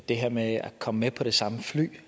det her med at komme med på det samme fly